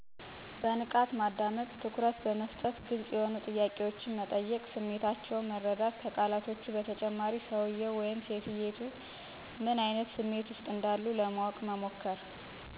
በንቃት ማዳመጥ ትኩረት በመስጠት ግልፅ የሆኑ ጥያቄዎችን መጠየቅ ስሜታቸውን መረዳት ከቃላቶቹ በተጨማሪ ሰውየው (ወይም) ሴትየይቱ ምን አይነት ስሜት ውስጥ እንዳሉ ለማወቅ መሞከር።